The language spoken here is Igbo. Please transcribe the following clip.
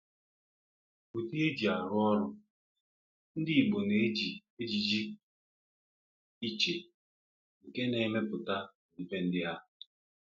Udi e ji arụ ọrụ: Ndị Igbo na-eji ejiji pụrụ iche nke na-emepụta ọdịbendị ha.